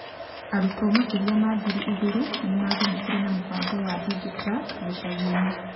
Arutwo makĩria ma ngiri igĩrĩ nĩ maagunĩkire nĩ mũbango wa Digi Truck gĩcagi-inĩ.